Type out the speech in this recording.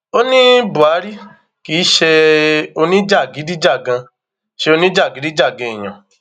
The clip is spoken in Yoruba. ó ní buhari kì í ṣe oníjàgídíjàgan ṣe oníjàgídíjàgan èèyàn